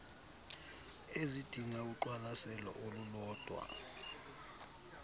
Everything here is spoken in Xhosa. ezidinga uqwalaselo olulodwa